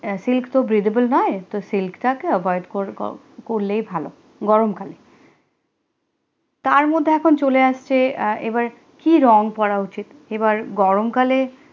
silk তো breathable নয়ে তো silk টা কে avoid করলে হি ভালো গরমকালে তারমধ্যে এখন চলে আসছে এবার কি রং পরা উচিত এবার গরমকালে